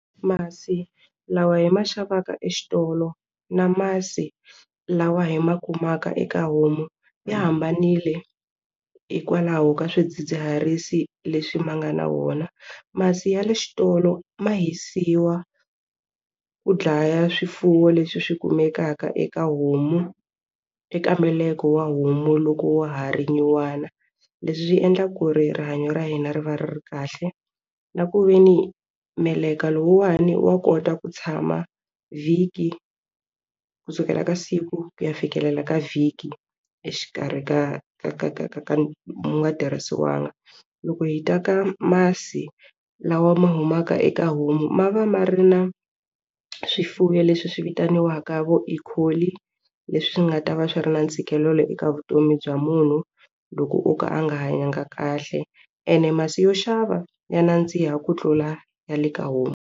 Masi lawa hi ma xavaka exitolo na masi lawa hi ma kumaka eka homu ya hambanile hikwalaho ka swidzidziharisi leswi ma nga na wona masi ya le xitolo ma hisiwa ku dlaya swifuwo leswi swi kumekaka eka homu eka meleka wa homu loko wa ha ri nyuwana leswi swi endla ku ri rihanyo ra hina ri va ri ri kahle na ku ve ni meleka lowuwani wa kota ku tshama vhiki kusukela ka siku ku ya fikelela ka vhiki exikarhi ka ka ka ka ka ka wu nga tirhisiwangi loko hi ta ka masi lawa ma humaka eka homu ma va ma ri na swifuwo leswi swi vitaniwaka vo Ecoli leswi nga ta va swi ri na ntshikelelo eka vutomi bya munhu loko o ka a nga hanyanga kahle ene masi yo xava ya nandziha ku tlula ya le ka homu.